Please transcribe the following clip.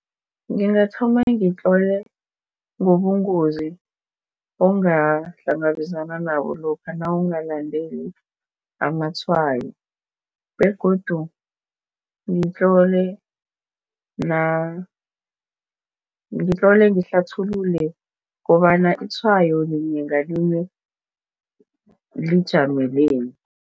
Ngingathoma ngitlole ngobungozi ongahlangabezana nabo lokha nawungalandeli amatshwayo begodu ngitlole ngitlole ngihlathulule kobana itshwayo linye ngalinye lijameleni.